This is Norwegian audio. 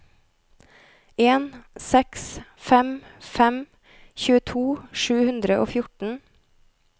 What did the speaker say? en seks fem fem tjueto sju hundre og fjorten